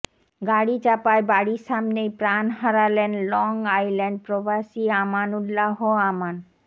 গাড়ীচাপায় বাড়ীর সামনেই প্রান হারালেন লংআইল্যান্ড প্রবাসী আমানউল্লাহ আমান